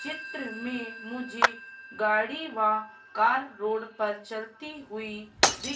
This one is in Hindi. चित्र में मुझे गाड़ी वा कार रोड पर चलती हुई दिख--